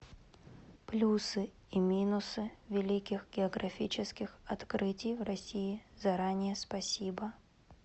плюсы и минусы великих географических открытий в россии заранее спасибо